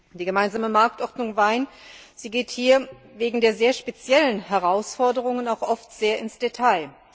Die gemeinsame Marktordnung für Wein geht hier wegen der sehr speziellen Herausforderungen auch oft sehr ins Detail.